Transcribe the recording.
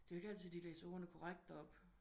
Det er jo ikke altid de læser ordene korrekt op